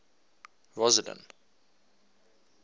rosseline